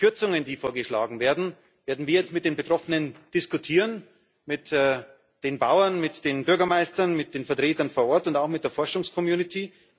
Die Kürzungen, die vorgeschlagen werden, werden wir jetzt mit den Betroffenen diskutieren mit den Bauern, mit den Bürgermeistern, mit den Vertretern vor Ort und auch mit der Forschungscommunity.